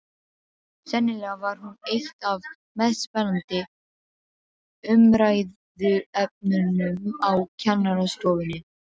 Sennilega var hún eitt af mest spennandi umræðuefnunum á kennarastofunni.